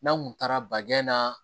N'an kun taara baɲɛn na